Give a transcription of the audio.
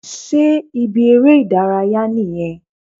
Sé ibi eré ìdárayá nìyẹn?